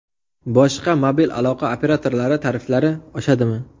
Boshqa mobil aloqa operatorlari tariflari oshadimi?